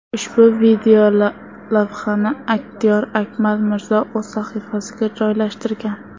Ushbu videolavhani aktyor Akmal Mirzo o‘z sahifasiga joylashtirgan.